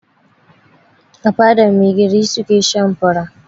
A fadar mai gari su ke shan fura.